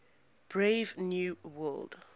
brave new world